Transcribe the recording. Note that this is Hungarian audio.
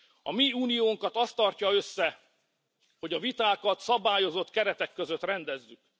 A mi uniónkat az tartja össze, hogy a vitákat szabályozott keretek között rendezzük.